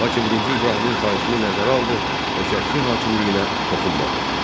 Lakin birinci İbrahimin xahişini nəzərə aldı və Şəki hakimliyinə toxunmadı.